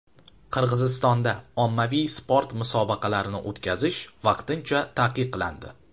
Qirg‘izistonda ommaviy sport musobaqalarini o‘tkazish vaqtincha taqiqlandi .